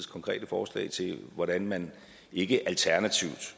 konkrete forslag til hvordan man ikke alternativt